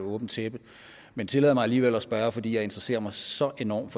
åbent tæppe men tillad mig alligevel at spørge fordi jeg interesserer mig så enormt